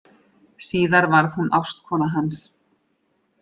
Síðar varð hún ástkona hans.